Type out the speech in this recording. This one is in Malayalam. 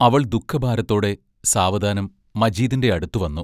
അവൾ ദുഃഖഭാരത്തോടെ സാവധാനം മജീദിന്റെ അടുത്തു വന്നു.